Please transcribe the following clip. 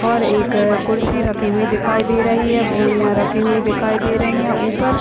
और एक खुर्सी रखी हुई दिखाई दे रही है बोरिया रखी हुई दिखाई दे रही है ऊपर --